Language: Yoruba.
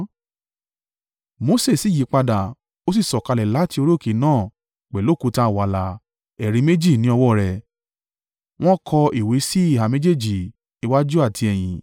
Mose sì yípadà, ó sì sọ̀kalẹ̀ láti orí òkè náà pẹ̀lú òkúta wàláà ẹ̀rí méjì ní ọwọ́ rẹ̀. Wọ́n kọ ìwé síhà méjèèjì, iwájú àti ẹ̀yin.